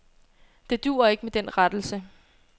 Det duer ikke med den rettelse.